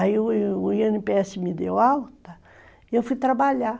Aí o o i ene pê esse me deu alta e eu fui trabalhar.